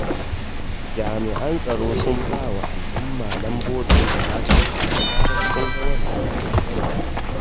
Jami'an tsaro sun ba wa al'umma lambobin da za su kira da zarar sun ga wanda ba su yarda da shi ba.